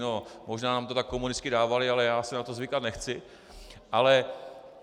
No možná nám to tak komunisté dávali, ale já si na to zvykat nechci.